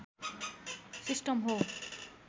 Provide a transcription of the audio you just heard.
system हो